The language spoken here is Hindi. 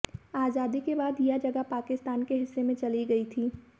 आजादी के बाद यह जगह पाकिस्तान के हिस्से में चली गई थी